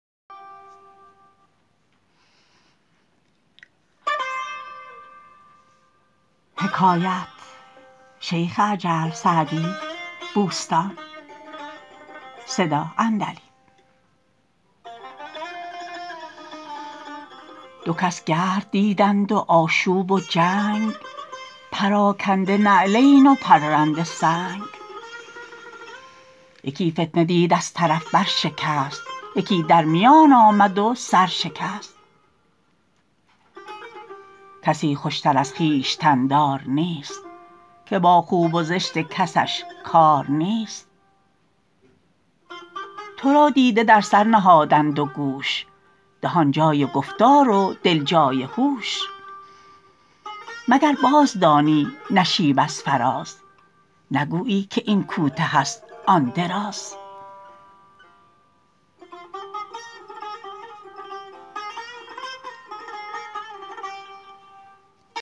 دو کس گرد دیدند و آشوب و جنگ پراکنده نعلین و پرنده سنگ یکی فتنه دید از طرف بر شکست یکی در میان آمد و سر شکست کسی خوشتر از خویشتن دار نیست که با خوب و زشت کسش کار نیست تو را دیده در سر نهادند و گوش دهان جای گفتار و دل جای هوش مگر باز دانی نشیب از فراز نگویی که این کوته است آن دراز